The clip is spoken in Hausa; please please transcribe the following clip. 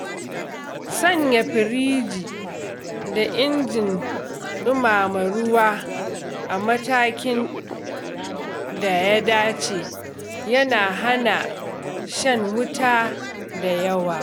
Sanya firiji da injin dumama ruwa a matakin da ya dace yana hana shan wuta da yawa.